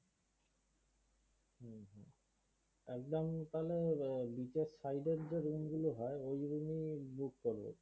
একদম তাহলে beach এর side এর যে room গুলো হয় ঐগুলো book করো।